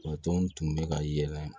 tɔn tun bɛ ka yɛlɛ